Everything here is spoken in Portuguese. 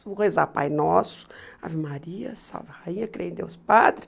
Vou rezar Pai Nosso, Ave Maria, Salve Rainha, Crer em Deus Padre.